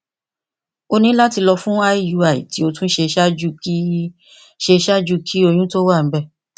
o ni lati lọ fun iui ti o tun ṣe ṣaaju ki ṣe ṣaaju ki oyun to wa nibẹ